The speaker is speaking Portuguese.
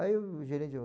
Aí o gerente falou.